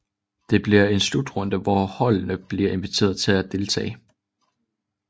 Det bliver en slutrunde hvor holdene blive inviteret til at deltage